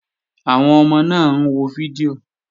Àwọn ọmọ náà wo fídíò